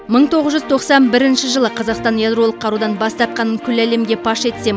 мың тоғыз жүз тоқсан бірінші жылы қазақстан ядролық қарудан бас тартқанын күллі әлемге паш етсе